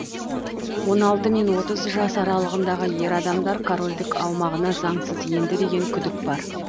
он алты мен отыз жас аралығындағы ер адамдар корольдік аумағына заңсыз енді деген күдік бар